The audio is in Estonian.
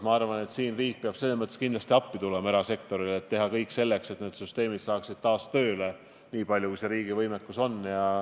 Ma arvan, et siin peab riik kindlasti erasektorile appi tulema, et teha kõik selleks, et need süsteemid hakkaksid taas tööle, niipalju kui see riigi võimuses on.